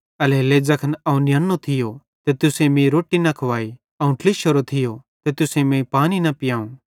एल्हेरेलेइ ज़ैखन अवं नियन्नो थियो ते तुसेईं मीं रोट्टी न खुवाई अवं ट्लिशोरो थियो ते तुसेईं मीं पानी न पियांव